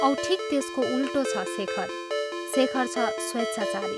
औं ठीक त्यसको उल्टो छ शेखर शेखर छ स्वेच्छाचारी।